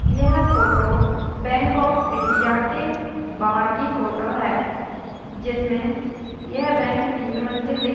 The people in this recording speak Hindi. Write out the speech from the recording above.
यह फोटो बैंक ऑफ़ इंडिया के बाहर की फोटो है जिसमे यह बैंक तीन मंजिल दिख--